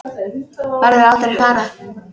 Verður aldrei svarað.